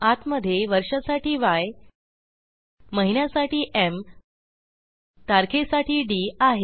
आतमधे वर्षासाठी य महिन्यासाठी एम तारखेसाठी डी आहे